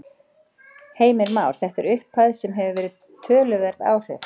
Heimir Már: Þetta er upphæð sem að hefur töluverð áhrif?